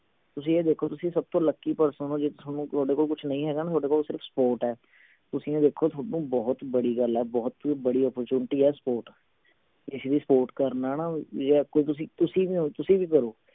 ਤੁਸੀਂ ਇਹ ਦੇਖੋ ਤੁਸੀਂ ਸਭ ਤੋਂ lucky person ਹੋ ਜੇ ਥੋਨੂੰ ਥੋਡੇ ਕੋਲ ਕੁਛ ਨਹੀਂ ਹੈਗਾ ਨਾ ਥੋਡੇ ਕੋਲ ਸਿਰਫ support ਹੈ ਤੁਸੀਂ ਇਹ ਦੇਖੋ ਥੋਨੂੰ ਬਹੁਤ ਬੜੀ ਗੱਲ ਹੈ ਬਹੁਤ ਬੜੀ opportunity ਹੈ support ਕਿਸੇ ਦੀ support ਕਰਨਾ ਨਾ ਵੀ ਜੇ ਆਂਖੋਂ ਤੁਸੀਂ ਤੁਸੀਂ ਵੀ ਹੋਂ ਤੁਸੀਂ ਵੀ ਕਰੋ